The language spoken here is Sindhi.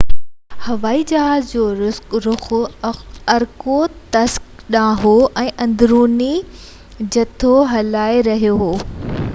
هوائي جهاز جو رُخ ارکوتسڪ ڏانهن هو ۽ اندروني جٿو هلائي رهيو هو